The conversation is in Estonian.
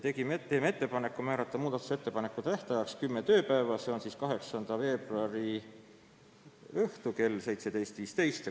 Teeme ettepaneku määrata muudatusettepanekute tähtajaks kümme tööpäeva, see on siis 8. veebruar kell 17.15.